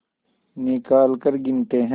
निकालकर गिनते हैं